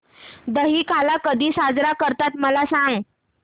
दहिकाला कधी साजरा करतात मला सांग